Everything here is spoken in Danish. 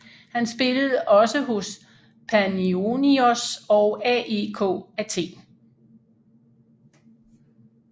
Han spillede også hos Panionios og AEK Athen